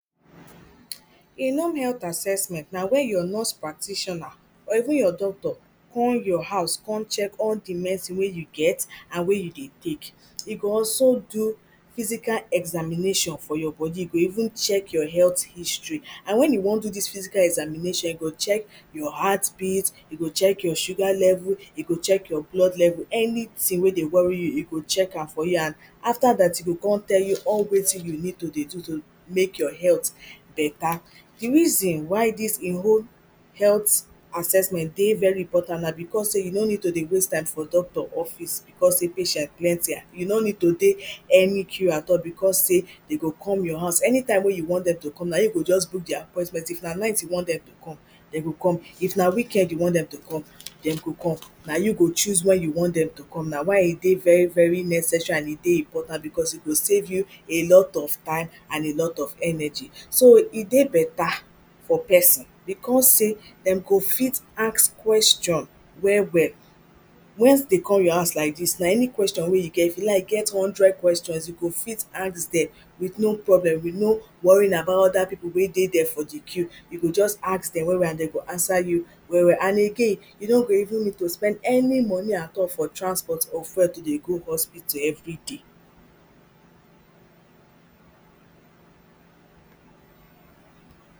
Im home health assessment na wey your nurse practitioner or even your doctor come your house come kon check all the medicine wey you get and wey you dey take. E go also do physical examination for you body, e go even check your health history. And when you wan do this physical examination, e go check your heartbeat, e go check your sugar level, e go check your blood level. Anything wey dey worry you, e go check am for you and and after that, e go kon tell you all wetin you need to dey do to make your health better. The reason why this im home health assessment dey very important na because say you no need to waste time for doctor office because say patients plenty. You no need to dey any queue at all because say dem go come your house. Anytime wey you want dem to come, na im you go just book di appointment. If na night you want dem to come, dem go come. If na weekend you want dem to come, dem go come. Na you go choose when you want dem to come. Na why e dey very very necessary and e dey important because e go save you a lot of time and a lot of energy. So, e dey better for person because say dem go fit ask question well well. Once dem come your house like dis, na any question wey you get. If you like get hundred questions, you go fit ask dem with no problem, with no worrying about other people wey dey for di queue. You go just ask dem well well and dem go answer you well well. And again, you no go even need to spend any money at all for transport or fuel to dey go hospital everyday.